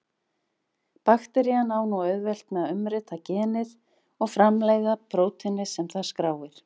Bakterían á nú auðvelt með að umrita genið og framleiða prótínið sem það skráir.